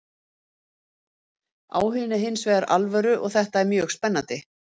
Áhuginn er hins vegar alvöru og þetta er mjög spennandi.